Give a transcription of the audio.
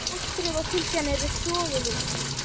Fóstrið og fylgjan eru soguð út.